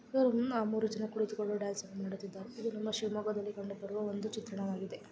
ಇಲ್ಲಿ ಮೂರು ಜನ ಕೂತಿಕೊಂಡು ಡ್ಯಾನ್ಸ್ ಮಾಡುತ್ತಿದ್ದಾರೆ ಇದು ನಮ್ಮ ಶಿವಮೊಗ್ಗದಲ್ಲಿ ಕಂಡುಬರುವ ಒಂದು ಚಿತ್ರಣವಾಗಿದೆ.